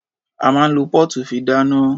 A máa ń lo póòtù fi dáná.